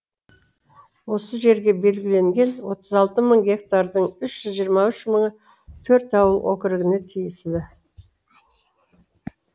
осы жерге белгіленген отыз алты мың гектардың үш жүз жиырма үш мыңы төрт ауыл округіне тиесілі